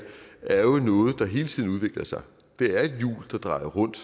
er jo noget der hele tiden udvikler sig det er et hjul der drejer rundt